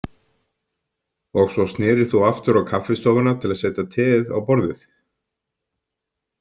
Og svo snerir þú aftur á kaffistofuna til að setja teið á borðið?